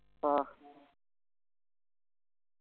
ആഹ്